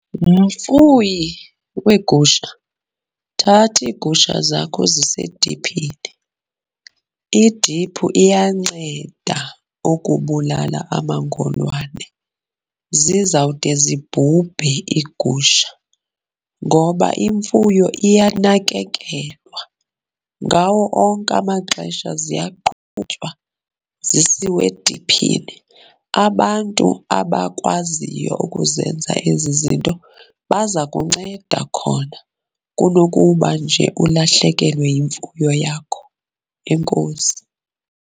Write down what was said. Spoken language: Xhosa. Mfuyi weegusha, thatha iigusha zakho uzise ediphini. Idiphu iyanceda ukubulala amangolwane. Zizawude zibhubhe iigusha, ngoba imfuyo iyanakekelwa. Ngawo onke amaxesha ziyaqhutywa zisiwe ediphini. Abantu abakwaziyo ukuzenza ezi zinto baza kunceda khona kunokuba nje ulahlekelwe yimfuyo yakho. Enkosi.